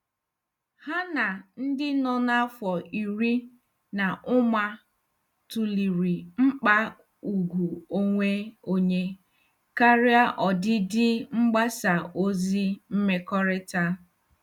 Ha na ndị nọ n'afọ iri na ụma tụlere mkpa ùgwù onwe onye karịa ọdịdị mgbasa ozi mmekọrịta.